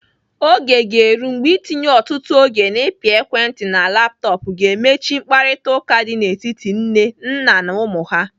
Oge ga-eru mgbe itinye ọtụtụ oge n'ịpị ekwentị na laptọpụ ga-eme chi mkparịtaụka dị n'etiti nne, nna na ụmụ ha.